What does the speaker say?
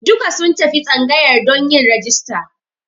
Duka sun tafi tsangayar don yin rajista.